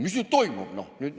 "Mis nüüd toimub?